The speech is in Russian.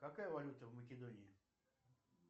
какая валюта в македонии